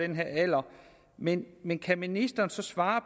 den her alder men men kan ministeren så svare